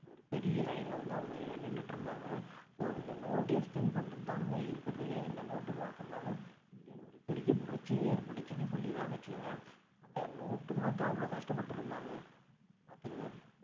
ஒரு பெரிய line ல வந்து அவங்க நின்னுட்டு இருந்தாங்க so இந்த note exchange பண்றதுதானுங்க இருக்கறதுலயே இந்த note மாத்தனதுனால இந்தியால ஒரு பெரிய புரட்சியே ஏற்பட்டுச்சுனு சொல்லிடலான்னு வச்சுக்கோங்களேன் அந்த note மாத்த அவ்வளவு கஷ்டப்பட்டுட்டு இருந்தாங்க பாத்துக்கோங்க